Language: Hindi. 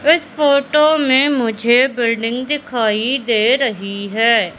इस फोटो में मुझे बिल्डिंग दिखाई दे रही है।